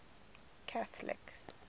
catholic